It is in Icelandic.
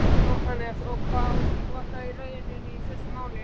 Jóhannes: Og var það raunin í þessu máli?